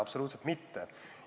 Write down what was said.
Absoluutselt mitte!